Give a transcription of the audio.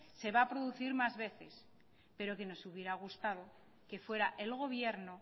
se va a producir más veces pero que nos hubiera gustado que fuera el gobierno